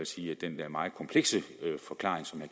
sige at den der meget komplekse forklaring som